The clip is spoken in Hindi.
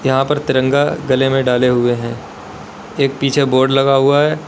यहां पर तिरंगा गले में डाले हुए हैं एक पीछे बोर्ड लगा हुआ है।